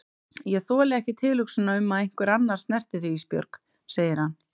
Ég þoli ekki tilhugsunina um að einhver annar snerti þig Ísbjörg, segir hann.